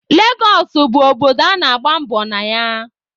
Legọsụ bụ obodo a na-agba mbọ na ya.